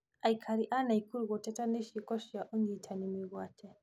Aikari a Naikuru gũteta nĩ ciĩko cia unitani mĩgwate